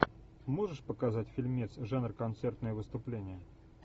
можешь показать фильмец жанр концертное выступление